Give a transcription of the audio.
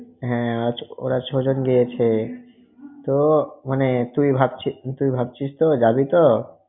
হ্যাঁ ওঁরা ছয়জন গিয়েছে। তো মানে তুই ভাবছিস~ তুই ভাবছিস তো? যাবি তো?